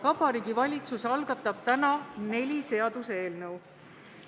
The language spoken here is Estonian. Vabariigi Valitsus algatab täna neli seaduseelnõu.